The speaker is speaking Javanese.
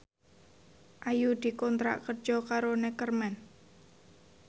Ayu dikontrak kerja karo Neckerman